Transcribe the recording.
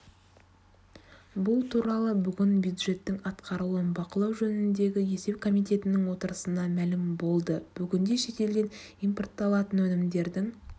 бұл туралы бүгін бюджеттің атқарылуын бақылау жөніндегі есеп комитетінің отырысында мәлім болды бүгінде шетелден импортталатын өнімдердің